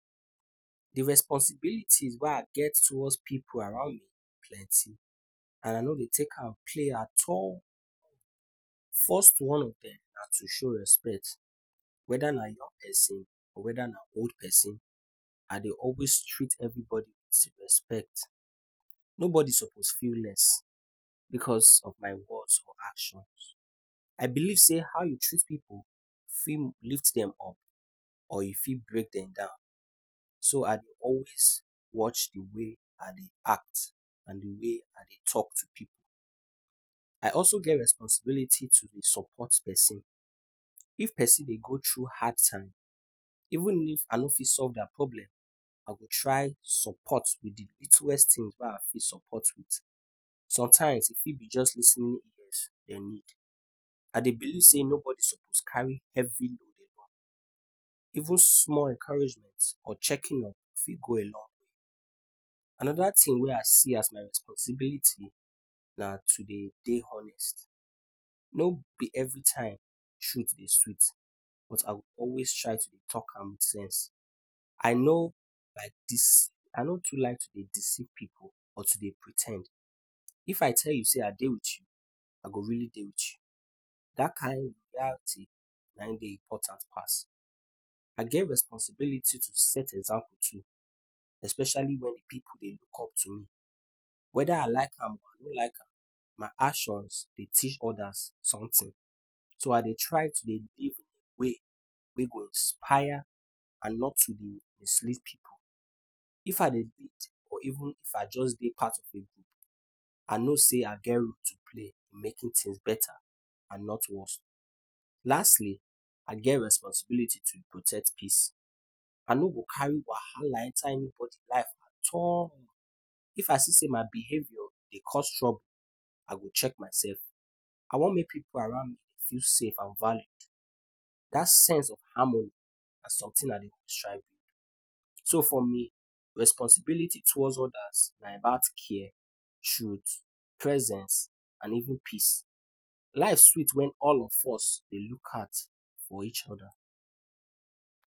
De responsibilities wey I get towards pipu around me plenty and I nor dey take am play at all. First one of dem na to show respect, whether na young person, whether na old person. I dey always treat everybody with respect, nobody suppose feel less, because of my words or actions. I believe sey how you treat pipu fit lift dem up or e fit bring dem down, so I dey always watch de way I dey act and de way I dey talk to pipu. I also get responsibility to dey support person, if person dey go through hard time even if I nor fit solve their problem, I go try support with the lituest thing wey I fit support with. Sometimes e fit be just lis ten ing ears dem need. I dey believe sey nobody suppose carry heavy even small encouragement or checking up fit go a long way. Another thing wey I see as my responsibility na to dey dey honest, nor be every time truth dey sweet but I go always try to dey talk am with sense. I no like dis, I no too like to dey deceive pipu or to dey pre ten d, if I tell you say I dey with you I go really dey with you, dat kind loyalty na im dey important pass. I get responsibility to set examples to especially wen pipu dey look up to me, whether I like am oh or I nor like am my actions dey teach others somtin. So I dey try to dey give way wey go inspire and not to dey mislead pipu. If I dey lead or even if I just dey part of a group, I know sey I get role to play making things better and not worse. Lastly, I get responsibility to protect peace, I nor go carry wahala enter anybody life at all, if I see sey my behavior dey cause trouble I go check myself. I want make pipu around me dey feel safe and valued. Dat sense of harmony na something I dey. So for me, responsibility towards others na about care, truth, presence and even peace. Life sweet wen all of us dey look out for each other.